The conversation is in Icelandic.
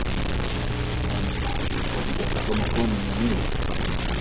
En hvernig gekk að koma konunni niður?